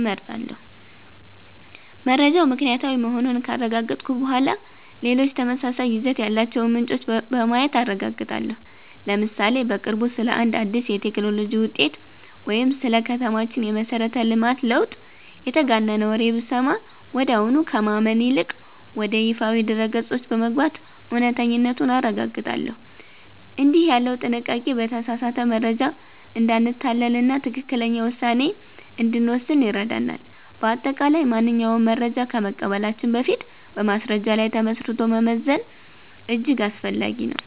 እመርጣለሁ። መረጃው ምክንያታዊ መሆኑን ካረጋገጥኩ በኋላ፣ ሌሎች ተመሳሳይ ይዘት ያላቸውን ምንጮች በማየት አረጋግጣለሁ። ለምሳሌ፦ በቅርቡ ስለ አንድ አዲስ የቴክኖሎጂ ውጤት ወይም ስለ ከተማችን የመሠረተ ልማት ለውጥ የተጋነነ ወሬ ብሰማ፣ ወዲያውኑ ከማመን ይልቅ ወደ ይፋዊ ድረ-ገጾች በመግባት እውነተኛነቱን አረጋግጣለሁ። እንዲህ ያለው ጥንቃቄ በተሳሳተ መረጃ እንዳንታለልና ትክክለኛ ውሳኔ እንድንወስን ይረዳናል። በአጠቃላይ፣ ማንኛውንም መረጃ ከመቀበላችን በፊት በማስረጃ ላይ ተመስርቶ መመዘን እጅግ አስፈላጊ ነው።